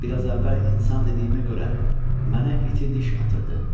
Bir az əvvəl insan dediyimə görə mənə iti diş atırdı.